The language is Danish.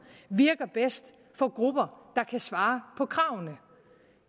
virker bedst for grupper der kan svare på kravene